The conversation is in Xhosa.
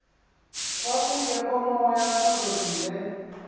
kwakungekho moya kuzolile